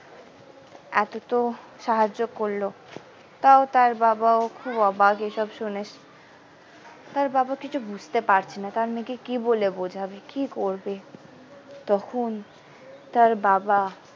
এত তো সাহায্য করলো তাও তার বাবাও খুব অবাক এই সব শুনে তার বাবা কিছু বুঝতে পারছে না তার মেয়েকে কি বলে বোঝাবে কি করবে তখন তার বাবা।